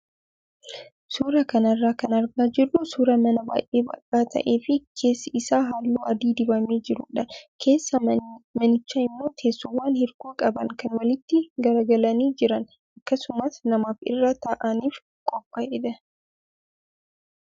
Suuraa kanarraa kan argaa jirru suuraa mana baay'ee bal'aa ta'ee fi keessi isaa halluu adii dibamee jirudha. Keessa manichaa immoo teessoowwan hirkoo qaban kan walitti garagalanii jiran akkasumas namaaf irra taa'aniif qophaa'edha.